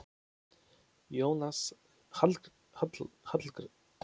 Jónas Hallgrímsson var ljóðskáld.